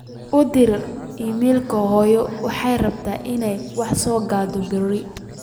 u dir iimayl hooyo waxaan rabaa in aan wax so gato bari